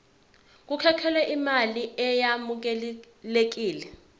kukhokhelwe imali eyamukelekile